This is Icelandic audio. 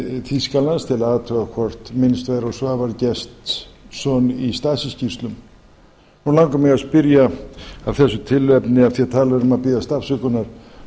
þýskalands til að athuga hvort minnst væri á svavar gestsson í stasi skýrslum nú langar mig að spyrja af þessu tilefni af því talað er um að biðjast afsökunar